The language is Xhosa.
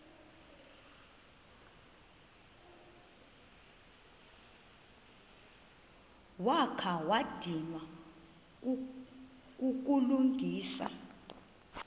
wakha wadinwa kukulungisa